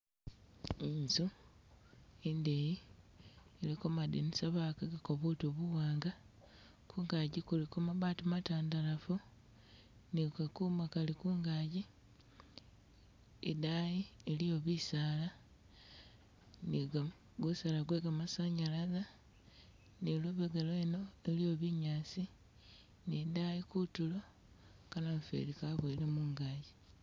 Inzu indeyi iliko madinisa bagatagako butu buwanga, kungagi kuliko mabati matandalafu, ni kakuma kali kungagi, i daayi eliyo bisaala ni ga- gu saala gwe gamasanyalaze ni lubega lweno iliyo binyaasi, ni dayi kutulo ka namufeeli kabuwele mungagi